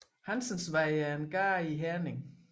Hansens Vej er en gade i Herning